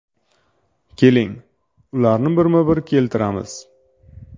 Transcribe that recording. Keling, ularni bir-bir keltiramiz.